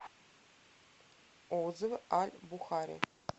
отзывы аль бухари